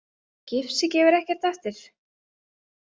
Gifsið gefur ekkert eftir.